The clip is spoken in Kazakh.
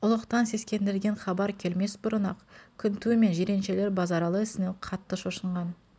ұлықтан сескендірген хабар келмес бұрын-ақ күніу мен жиреншелер базаралы ісінен қатты шошынған